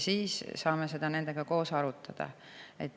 Siis saame seda nendega koos arutada.